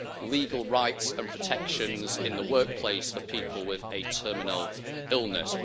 legal rights and protections in the workplace for people with a terminal illness.